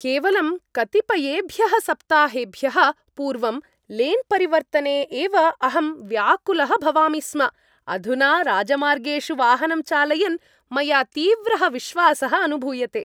केवलं कतिपयेभ्यः सप्ताहेभ्यः पूर्वं, लेन् परिवर्तने एव अहं व्याकुलः भवामि स्म, अधुना राजमार्गेषु वाहनं चालयन् मया तीव्रः विश्वासः अनुभूयते!